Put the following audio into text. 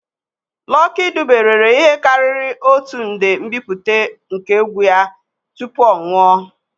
Lucky Dube rere ihe karịrị otu nde mbipụta nke egwu ya tupu ọ nwụọ.